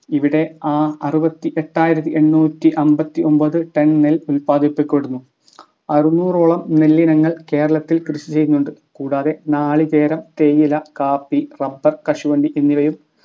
ഇവിടെ അ അറുപത്തി എട്ടായിരത്തി എണ്ണൂറ്റി അമ്പത്തി ഒമ്പത്‌ Ton നെല്ല് ഉല്പാദിപ്പിക്കപ്പെടുന്നു അറുന്നൂറോളം നെല്ലിനങ്ങൾ കേരളത്തിൽ കൃഷി ചെയ്യുന്നുണ്ട് കൂടാതെ നാളികേരം തേയില കാപ്പി റബ്ബർ കശുവണ്ടി എന്നിവയും